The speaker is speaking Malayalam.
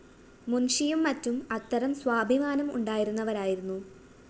മുന്‍ഷിയും മറ്റും അത്തരം സ്വാഭിമാനം ഉണ്ടായിരുന്നവരായിരുന്നു